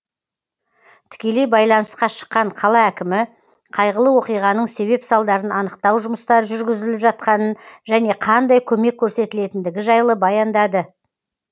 тікелей байланысқа шыққан қала әкімі қайғылы оқиғаның себеп салдарын анықтау жұмыстары жүргізіліп жатқанын және қандай көмек көрсетілетіндігі жайлы баяндады